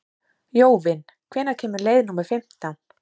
Jóvin, hvenær kemur leið númer fimmtán?